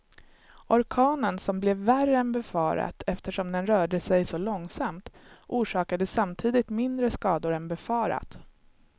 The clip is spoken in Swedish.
Orkanen som blev värre än befarat eftersom den rörde sig så långsamt, orsakade samtidigt mindre skador än befarat.